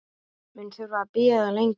Mun þurfa að bíða lengi.